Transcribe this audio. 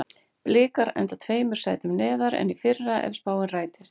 Blikar enda tveimur sætum neðar en í fyrra ef spáin rætist.